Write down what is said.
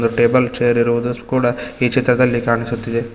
Table chair ಇರುವುದು ಕೂಡ ಈ ಚಿತ್ರದಲ್ಲಿ ಕಾಣುಸ್ತಾ ಇದೆ.